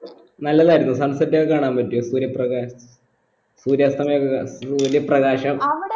നല്ലല്ലായിരുന്നോ sunset ഒക്കെ കാണാൻ പറ്റിയോ സൂര്യ പ്രകാശ് സൂര്യസ്തമയൊക്കെ ക സൂര്യ പ്രകാശം